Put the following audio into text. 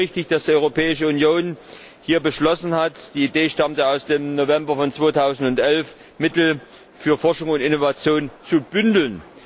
Und es ist richtig, dass die Europäische Union hier beschlossen hat die Idee stammt aus dem November 2011 Mittel für Forschung und Innovation zu bündeln.